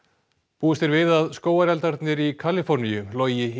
búist er við að skógareldarnir í Kaliforníu logi í